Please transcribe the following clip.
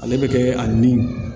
Ale bɛ kɛ a ni